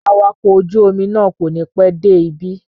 Awakọ̀ ojú-omi náà kò ní pẹ́ dé ibí.